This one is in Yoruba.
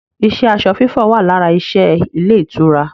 iṣẹ́ aṣọ fífọ̀ wà lára iṣẹ́ ilé ìtura